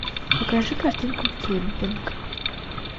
покажи картинку кемпинг